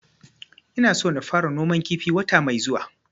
Ina so na fara noman kifi wata mai zuwa